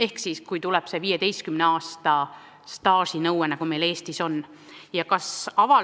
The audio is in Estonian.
Ehk siis, kuidas suhtuda 15 aasta pikkuse staaži nõudesse, mis meil Eestis kehtib.